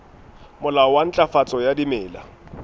molao wa ntlafatso ya dimela